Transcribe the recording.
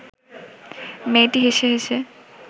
মেয়েটি হেসে হেসে